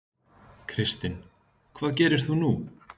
Kristinn: Hvað gerir þú nú?